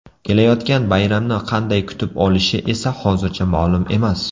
Kelayotgan bayramni qanday kutib olishi esa hozircha ma’lum emas.